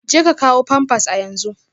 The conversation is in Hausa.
Jeka kawo pampers a yanzu